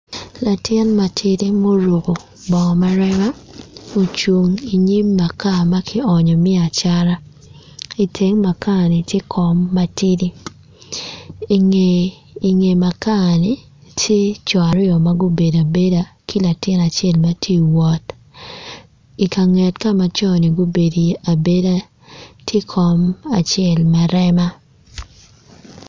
Latin matidi ma oruko bongo ma rema ocung inyim maka ma ki onyo me acata iteng makani tye kom matidi inge makani tye co aryo ma gubedo abeda ki latin acel matye iwot i kanget ka co aryo ni gubedo iye abeda tye kom acel ma rema